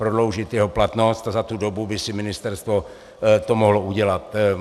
Prodloužit jeho platnost a za tu dobu by si ministerstvo to mohlo udělat.